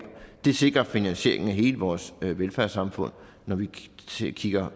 det sikrer finansieringen af hele vores velfærdssamfund når vi vi kigger